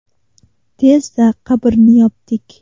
Tezda qabrni yopdik.